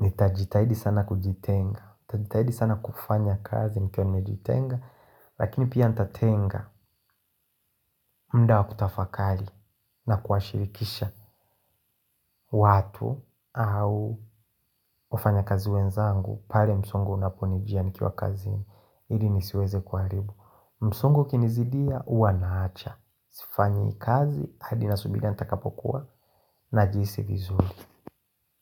nitajitahidi sana kujitenga. Tutajitahidi sana kufanya kazi nikiwa nimejitenga lakini pia ntatenga muda wa kutafakari na kuwashirikisha watu au wafanya kazi wenzangu. Pale msongo unaponijia nikiwa kazini ili nisiweze kuharibu. Msongo ikinizidia huwa naacha. Sifanyi kazi hadi nasubiri nitakapokuwa najihisi vizuri.